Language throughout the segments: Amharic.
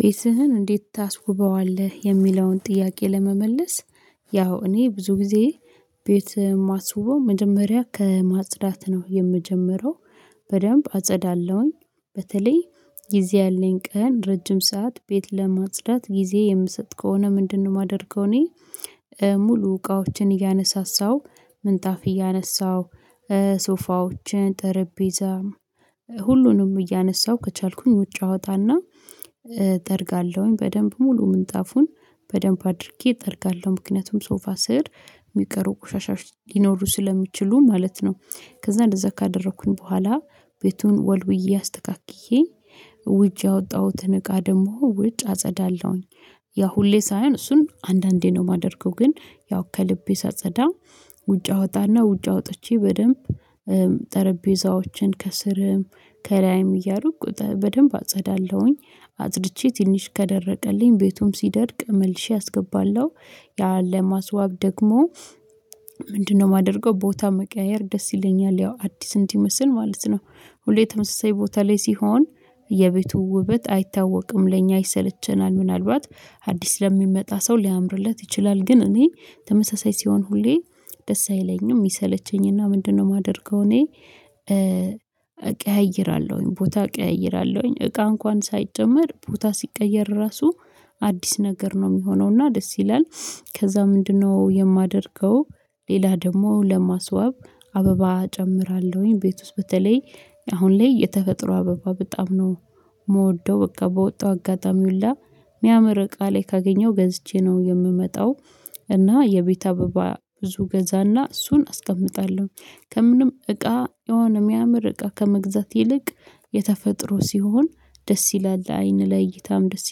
ቤትህን እንዴት ታስውበዋለህ? የሚለውን ጥያቄ ለመመለስ ያው እኔ ብዙ ጊዜ ቤት ማስውበው መጀመሪያ ከማጽዳት ነው የምጀምረው። በደንብ አጸዳለሁኝ በተለይ ጊዜ ያለኝ ቀን ረጅም ሰዓት ቤት ለማጽዳት ጊዜ የምሰጥ ከሆነ ምንድነው የማደርገው እኔ ሙሉ እቃዎችን እያነሳሳው ምንጣፍ እያነሳው ሶፋዎችን ጠረጴዛ ሁሉንም እያነሳሁ ከቻልኩኝ ውጭ አወጣና እጠርጋለሁኝ በደንብ ሙሉ ምንጣፉን በደንብ አድርጌ እጠርጋለሁ ምክንያቱም ሶፋ ስር የሚቀሩ ቁሻሻዎች ሊኖሩ ስለሚችሉ ማለት ነው። ከዚያ እንደዚያ ካደረኩኝ በኋላ ቤቱን ወልውዬ አስተካክዬ ውጭ ያወጣሁትን እቃ ደግሞ ውጭ አጸዳለሁኝ። ያ ሁሌ ሳይሆን እሱን አንዳንዴ ነው የማደርገው ግን ያው ከልቤ ሳጸዳ ውጭ አወጣና ውጭ አወጥቼ በደንብ ጠረጴዛዎችን ከስርም ከላይም እያርኩ በደንብ አጸዳለሁኝ አጽድቼ ትንሽ ከደረቀልኝ ቤቱም ሲደርቅ መልሼ አስገባለሁ። ያ ለማስዋብ ደግሞ የማደርገው ቦታ መቀያየር ደስ ይለኛል ያው አዲስ እንዲመስል ማለት ነው። ሁሌ ተመሳሳይ ቦታ ላይ ሲሆን የቤቱ ውበት አይታወቅም ለእኛ ይሰለቸናል ምናልባት አዲስ ለሚመጣ ሰው ሊያምርለት ይችላል ግን እኔ ተመሳሳይ ሲሆን ሁሌ ደስ አይለኝም ይሰለቸኝና ምንድነው የማደርገው እኔ እቀይራለሁኝ ቦታ እቀይራለሁኝ እቃ እንኳን ሳይጨመር ቦታ ሲቀየር ራሱ አዲስ ነገር ነው የሚሆነው እና ደስ ይላል። ከዚያ ምንድነው የማደርገው? ሌላ ደግሞ ለማስዋብ አበባ እጨምራለሁኝ ቤት ውስጥ በተለይ አሁን ላይ የተፈጥሮ አበባ በጣም ነው የምወደው በቃ በወጣው አጋጣሚ ሁላ ሚያምር እቃ ላይ ካገኘው ገዝቼ ነው የምመጣው። እና የቤት አበባ ብዙ ገዛና እሱን አስቀምጣለሁ ከምንም እቃ የሆነ የሚያምር እቃ ከመግዛት ይልቅ የተፈጥሮ ሲሆን ደስ ይላል ለአይን ለእይታም ደስ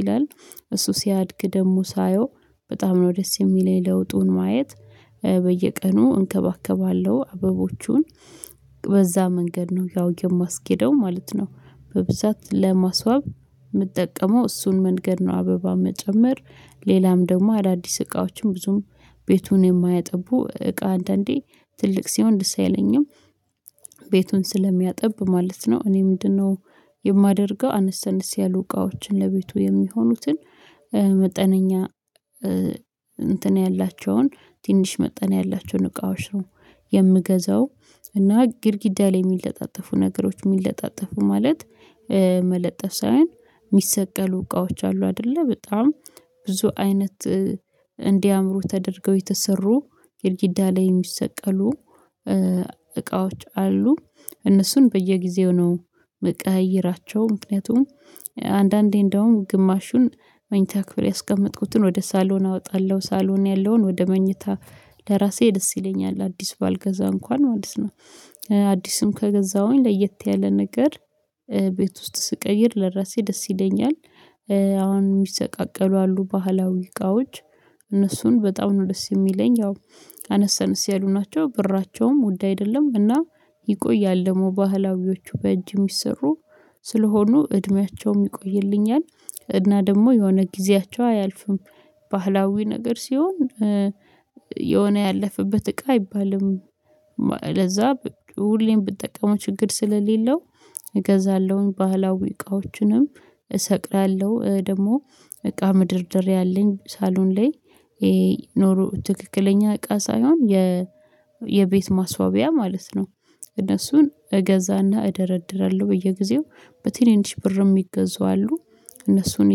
ይላል። እሱ ሲያድግ ደግሞ ሳየው በጣም ነው ደስ የሚለኝ ለውጡን ማየት በየቀኑ እንከባከባለሁ አበቦቹን በዚያ መንገድ ነው ያው የማስኬደው ማለት ነው። በብዛት ለማስዋብ የምጠቀመው እሱን መንገድ ነው አበባ መጨመር ሌላም ደግሞ አዳዲስ እቃዎችን ብዙም ቤቱን የማያጠቡ እቃ አንዳንዴ ትልቅ ሲሆን ደስ አይለኝም። ቤቱን ስለሚያጣብ ማለት ነው እኔ ምንድነው? የማደርገው አነስ አነስ ያሉ እቃዎችን ለቤቱ የሚሆኑትን መጠነኛ እንትን ያላቸውን ትንሽ መጠነኛ ያላቸውን እቃዎች ነው የምገዛው። እና ግድግዳ ላይ የሚለጣጠፉ ነገሮች የሚለጣጠፉ ማለት መለጠፍ ሳይሆን የሚሰቀሉ እቃዎች አሉ አይደለ በጣም ብዙ አይነት እንድያምሩ ተደርገው የተሰሩ ግድጊዳ ላይ የሚሰቀሉ እቃዎች አሉ። እነሱን በየጊዜው ነው የምቀያይራቸው ምክንያቱም አንዳንዴ እንደውም ግማሹን መኝታ ክፍል ያስቀመጥኩትን ወደ ሳሎን አወጣለሁ ሳሎን ያለውን ወደ መኝታ ለራሴ ደስ ይለኛል አዲስ ባልገዛ እንኳን ማለት ነው። አዲስም ከገዛሁኝ ለየት ያለ ነገር ቤት ውስጥ ስቀይር ለራሴ ደስ ይለኛል። አሁን የሚሰቃቀሉ አሉ ባህላዊ እቃዎች እነሱን በጣም ነው ደስ የሚለኝ ያው አነሰ አነስ ያሉ ናቸው ብራቸውም ውድ አይደለም እና ይቆያል ደግሞ ባህላዊዎቹ በእጅ የሚሰሩ ስለሆኑ እድሜያቸውም ይቆይልኛል። እና ደግሞ የሆነ ጊዜያቸው አያልፍም። ባህላዊ ነገር ሲሆን የሆነ ያለፈበት እቃ አይባልም። ለዚያ ሁሌም ብጠቀመው ችግር ስለሌለው እገዛለሁኝ ባህላዊ እቃዎችንም እሰቅላለሁ ደግሞ እቃ መደርደርያ አለኝ ሳሎን ላይ ይሄ ኖሮ ትክክለኛ እቃ ሳይሆን የ የቤት ማስዋቢያ ማለት ነው። እነሱን እገዛና እደረድራለሁ በየጊዜው በትንንሽ ብር ምገዙ አሉ እነሱን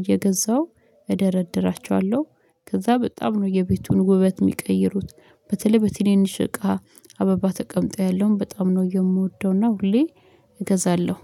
እየገዛው እደረድራቸዋለሁ። ከዚያ በጣም ነው የቤቱን ውበት የሚቀይሩት በተለይ በትንንሽ እኔን እቃ አበባ ተቀምጦ ያለውን በጣም ነው የምወደው እና ሁሌ እገዛለሁ